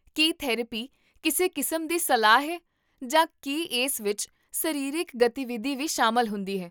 ਕੀ therapy ਕਿਸੇ ਕਿਸਮ ਦੀ ਸਲਾਹ ਹੈ, ਜਾਂ ਕੀ ਇਸ ਵਿੱਚ ਸਰੀਰਕ ਗਤੀਵਿਧੀ ਵੀ ਸ਼ਾਮਲ ਹੁੰਦੀ ਹੈ?